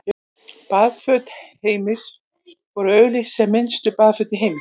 Baðföt Heims voru auglýst sem minnstu baðföt í heimi.